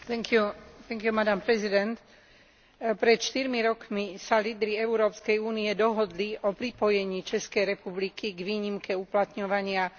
Pred štyrmi rokmi sa lídri Európskej únie dohodli o pripojení Českej republiky k výnimke uplatňovania Charty základných práv Európskej únie.